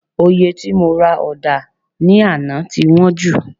Òye tí mo ra ọ̀dà ní àná ti wọ́n jù